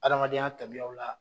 Adamadenya tabiyaw la